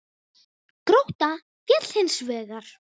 Grótta féll hins vegar.